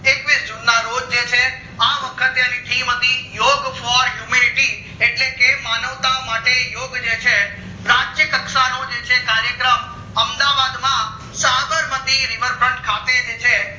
છવીશ june ના રોજ આ વખતે અણી theme હતી યોગ for humanity એટલે કે માનવતા માટે યોગ જે છે રાષ્ટ્રીય કક્ષાનો કાર્યક્રમ અમદાવાદ માં સાબરમતી river front ખાતે જે છે